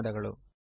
ಧನ್ಯವಾದಗಳು